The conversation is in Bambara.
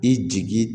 I jigi